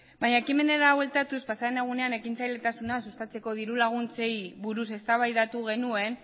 baina ekimenera bueltatuz pasadan egunean ekintzailetasuna sustatzeko dirulaguntzei buruz eztabaidatu genuen